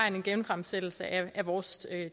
en genfremsættelse af vores